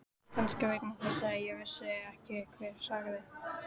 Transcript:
Kannski vegna þess að ég vissi ekki hver sagði.